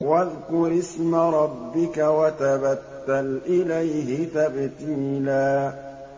وَاذْكُرِ اسْمَ رَبِّكَ وَتَبَتَّلْ إِلَيْهِ تَبْتِيلًا